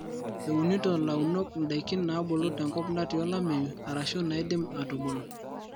eunito launok ndakin naabulu tenkop natii olameyu arashu naidim atubulu